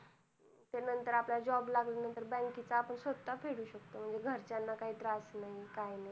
नंतर आपल्याला job लागल्या नंतर bank च आपण स्वता फेडू शकतो म्हणजे घरच्यांना काही त्रास नाही काही नाही